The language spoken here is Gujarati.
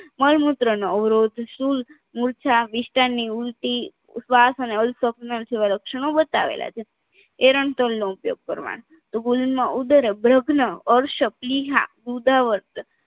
મળમૂત્ર નો અવરોધ સૂળ મૂર્છા વિસટાનની ઊલટી શ્વાસ અને અલ્પ સ્વપ્ન જેવા લક્ષણો બતાવેલા છે એરન્તોલનો ઉપયોગ કરવાનો તો ગોલિનમાં ઉદ્ર ભ્રુગ્ણ ઉદાવર